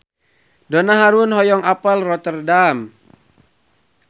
Donna Harun hoyong apal Rotterdam